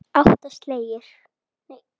Átta slagir.